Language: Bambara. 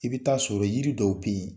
I bɛ taa sɔrɔ yiri dɔw bɛ yen